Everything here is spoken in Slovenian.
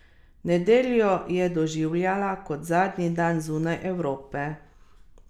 Nedeljo je doživljala kot zadnji dan zunaj Evrope.